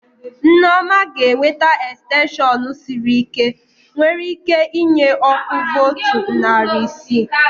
Nneoma ga ewete extension sịrị ike, nwere ike inye ọkụ voltu narị isi